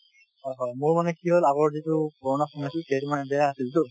হয় হয় মোৰ মানে কি হল আগৰ যিতো পুৰণা phone আছিল সেইটো মানে বেয়া আছিল টো ।